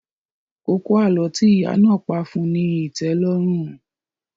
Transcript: Kókó àlọ́ tí ìyá náà pá fún ní ìtẹ́lọ́rùn